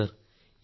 അതെ സർ